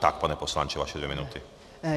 Tak, pane poslanče, vaše dvě minuty.